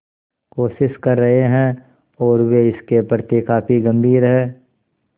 कोशिश कर रहे हैं और वे इसके प्रति काफी गंभीर हैं